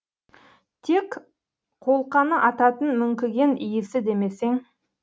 тек қолқаны ататын мүңкіген иісі демесең